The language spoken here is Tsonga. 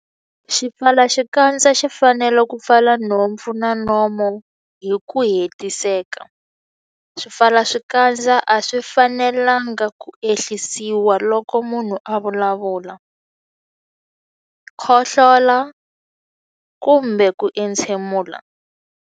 Xipfalaxikandza xi fanele ku pfala nhompfu na nomo hi ku hetiseka. Swipfalaxikandza a swi fanelanga ku ehlisiwa loko munhu a vulavula, khohlola kumbe ku entshemula.